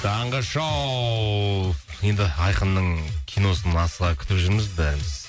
таңғы шоу енді айқынның киносын асыға күтіп жүрміз бәріміз